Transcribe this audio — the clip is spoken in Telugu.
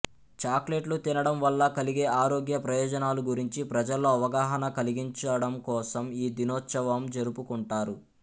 చాక్లెట్లు తినడం వల్ల కలిగే ఆరోగ్య ప్రయోజనాలు గురించి ప్రజల్లో అవగాహన కలిగించడంకోసం ఈ దినోవత్సం జరుపుకుంటారు